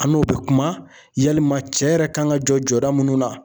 An n'o be kuma yalima cɛ yɛrɛ kan ka jɔ jɔda minnu na